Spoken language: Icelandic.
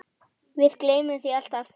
Við gleymum því alltaf